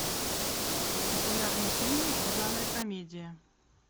популярный фильм в жанре комедия